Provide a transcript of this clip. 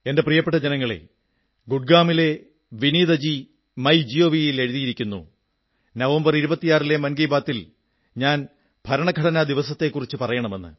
എന്റെ പ്രിയപ്പെട്ട ജനങ്ങളേ ഗുരുഗ്രാമിലെ വിനീതജി മൈ ജിഒവി ൽ എഴുതിയിരിക്കുന്നു ഈ മൻ കീ ബാത്തിൽ ഞാൻ ഭരണഘടനാ ദിവസത്തെക്കുറിച്ചു പറയണം എന്ന്